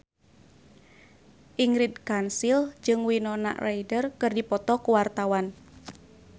Ingrid Kansil jeung Winona Ryder keur dipoto ku wartawan